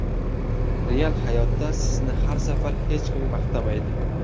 Real hayotda sizni har safar hech kim maqtamaydi.